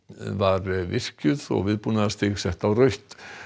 var virkjuð og viðbúnaðarstig sett á rautt